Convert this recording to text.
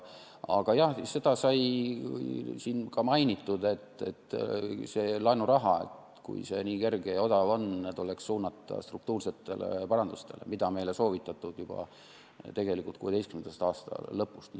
Aga jah, seda sai siin ka mainitud, et see laenuraha, kui see nii kerge ja odav on, tuleks suunata struktuursete paranduste tegemiseks, mida meile on soovitatud juba tegelikult 2016. aasta lõpust.